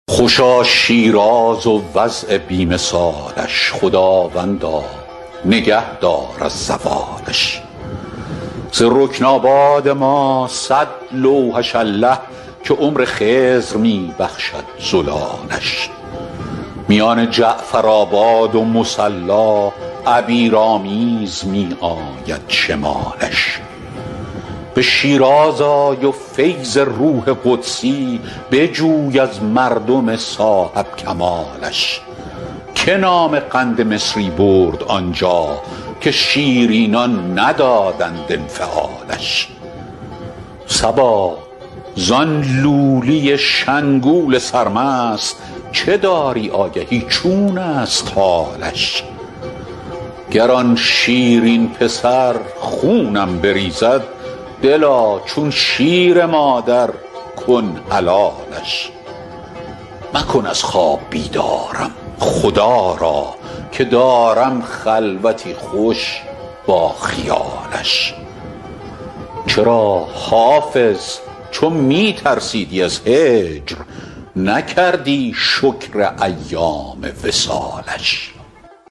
خوشا شیراز و وضع بی مثالش خداوندا نگه دار از زوالش ز رکن آباد ما صد لوحش الله که عمر خضر می بخشد زلالش میان جعفرآباد و مصلا عبیرآمیز می آید شمالش به شیراز آی و فیض روح قدسی بجوی از مردم صاحب کمالش که نام قند مصری برد آنجا که شیرینان ندادند انفعالش صبا زان لولی شنگول سرمست چه داری آگهی چون است حالش گر آن شیرین پسر خونم بریزد دلا چون شیر مادر کن حلالش مکن از خواب بیدارم خدا را که دارم خلوتی خوش با خیالش چرا حافظ چو می ترسیدی از هجر نکردی شکر ایام وصالش